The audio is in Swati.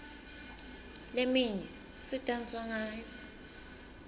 leminye sidansa ngayo